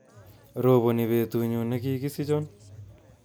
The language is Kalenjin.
Roboni betutnyu nekikisichion